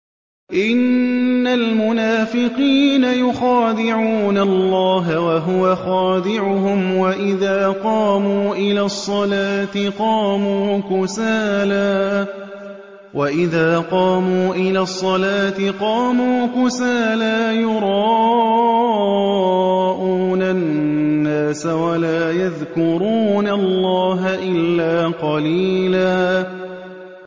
إِنَّ الْمُنَافِقِينَ يُخَادِعُونَ اللَّهَ وَهُوَ خَادِعُهُمْ وَإِذَا قَامُوا إِلَى الصَّلَاةِ قَامُوا كُسَالَىٰ يُرَاءُونَ النَّاسَ وَلَا يَذْكُرُونَ اللَّهَ إِلَّا قَلِيلًا